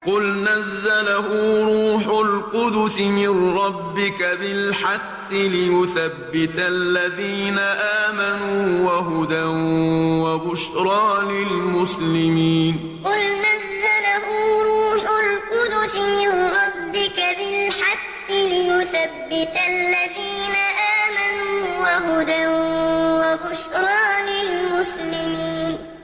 قُلْ نَزَّلَهُ رُوحُ الْقُدُسِ مِن رَّبِّكَ بِالْحَقِّ لِيُثَبِّتَ الَّذِينَ آمَنُوا وَهُدًى وَبُشْرَىٰ لِلْمُسْلِمِينَ قُلْ نَزَّلَهُ رُوحُ الْقُدُسِ مِن رَّبِّكَ بِالْحَقِّ لِيُثَبِّتَ الَّذِينَ آمَنُوا وَهُدًى وَبُشْرَىٰ لِلْمُسْلِمِينَ